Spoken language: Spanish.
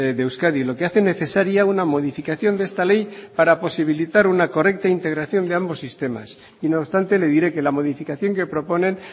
de euskadi lo que hace necesaria una modificación de esta ley para posibilitar una correcta integración de ambos sistemas y no obstante le diré que la modificación que proponen